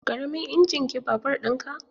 Ƙaramin injin ke babur ɗin ka?